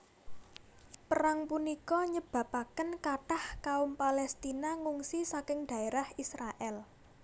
Perang punika nyababaken kathah kaum Paléstina ngungsi saking dhaérah Israèl